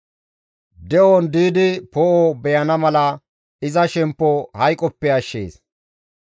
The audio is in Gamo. De7on diidi poo7o beyana mala iza shemppo hayqoppe ashshees.